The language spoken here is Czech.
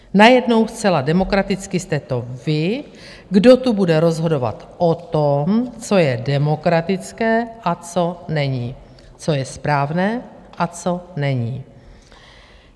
Najednou zcela demokraticky jste to vy, kdo tu bude rozhodovat o tom, co je demokratické a co není, co je správné a co není?